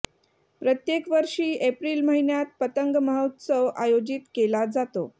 प्रत्येक वर्षी एप्रिल महिन्यात पतंग महोत्सव आयोजित केला जातो